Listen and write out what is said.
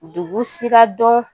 Dugu sira dɔn